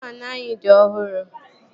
Sịlịn faanụ anyị dị ọhụrụ